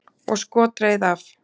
Og skot reið af.